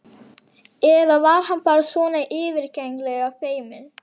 Eða var hann bara svona yfirgengilega feiminn?